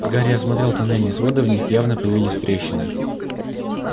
гарри осмотрел тоннельные своды в них явно появились трещины